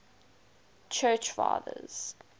church fathers